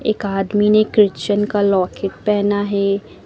एक आदमी ने क्रिचन का लॉकेट पहना है।